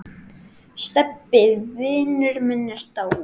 Stebbi vinur minn er dáinn.